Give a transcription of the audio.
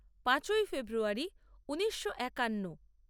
পাঁচই ফেব্রুয়ারী ঊনিশো একান্ন